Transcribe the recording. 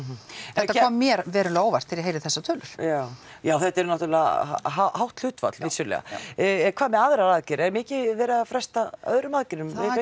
þetta kom mér verulega á óvart þegar ég heyrði þessar tölur já já þetta er náttúrulega hátt hlutfall vissulega hvað með aðrar aðgerðir er mikið verið að fresta öðrum aðgerðum það